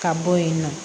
Ka bɔ yen nɔ